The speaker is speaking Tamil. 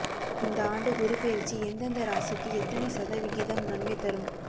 இந்த ஆண்டு குரு பெயர்ச்சி எந்தெந்த ராசிக்கு எத்தனை சதவிகிதம் நன்மை தரும்